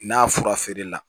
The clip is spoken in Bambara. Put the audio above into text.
N'a fura feerela